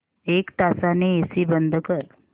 एक तासाने एसी बंद कर